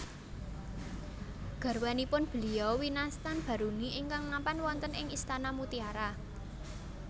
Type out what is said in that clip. Garwanipun Beliau winastan Baruni ingkang mapan wonten ing istana mutiara